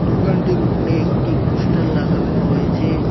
দোকানটির উপরে একটি পোস্টার লাগানো রয়েছে।